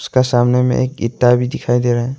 उसका सामने में एक ईटा भी दिखाई दे रहा है।